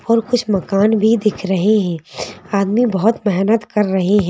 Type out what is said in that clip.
और कुछ मकान भी दिख रहे हैं आदमी बहुत मेहनत कर रहे हैं।